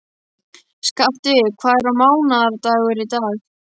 Skafti, hvaða mánaðardagur er í dag?